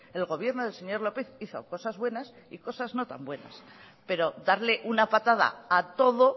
el gobierno del señor lópez hizo cosas buenas y cosas no tan buenas pero darle una patada a todo